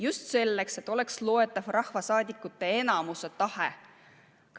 Just selleks, et oleks loetav rahvasaadikute enamuse tahe.